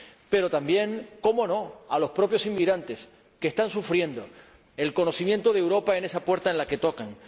pero también cómo no a los propios inmigrantes, que están sufriendo el conocimiento de Europa en esa puerta a la que llaman.